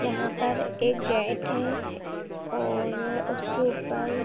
यहाँ पर एक गैट है और उसके ऊपर --